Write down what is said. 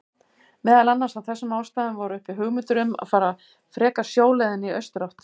Meðal annars af þessum ástæðum voru uppi hugmyndir um að fara frekar sjóleiðina í austurátt.